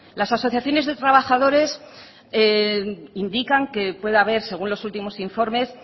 las asociaciones de trabajadores indican que puede haber según los últimos informes